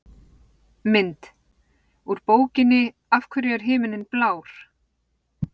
Mynd: Úr bókinni Af hverju er himinninn blár?